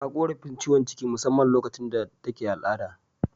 Ta korafin ciwon ciki musamman lokacin da take al'ada.